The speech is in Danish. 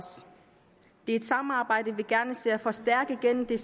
et samarbejde vi gerne ser forstærket gennem de